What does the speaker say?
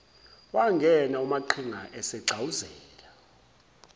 wangena umaqhinga esegxawuzela